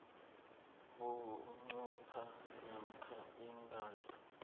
bunqopha namkha ingasi